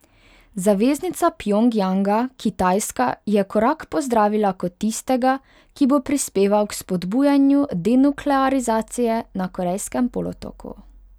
Zaveznica Pjongjanga Kitajska je korak pozdravila kot tistega, ki bo prispeval k vzpodbujanju denuklearizacije na Korejskem polotoku.